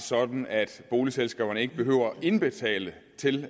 sådan at boligselskaberne ikke behøver at indbetale til